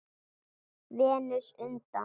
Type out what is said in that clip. Venus undan